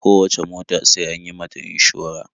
Kowacce mota sai an yi mata inshora.